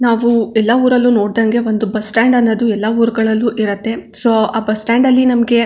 ನಾವು ಎಲ್ಲಾ ಊರಲ್ಲು ನೋಡದಂಗೆ ಒಂದು ಬಸ್ ಸ್ಟಾಂಡ್ ಅನ್ನೋದು ಎಲ್ಲಾ ಊರ್ ಗಳಲ್ಲು ಇರುತ್ತೆ ಸೋ ಆ ಬಸ್ ಸ್ಟಾಂಡ್ ಅಲ್ಲಿ ನಮ್ಮಗೆ.